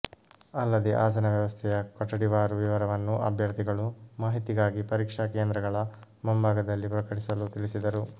ಅಲ್ಲದೇ ಆಸನ ವ್ಯವಸ್ಥೆಯ ಕೊಠಡಿವಾರು ವಿವರವನ್ನು ಅಭ್ಯರ್ಥಿಗಳು ಮಾಹಿತಿಗಾಗಿ ಪರೀಕ್ಷಾ ಕೇಂದ್ರಗಳ ಮುಂಬಾಗದಲ್ಲಿ ಪ್ರಕಟಿಸಲು ತಿಳಿಸಿದರು